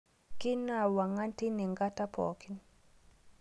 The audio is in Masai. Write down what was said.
Keinwua wongan teine ngata pookin